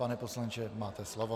Pane poslanče, máte slovo.